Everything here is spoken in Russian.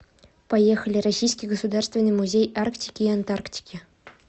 поехали российский государственный музей арктики и антарктики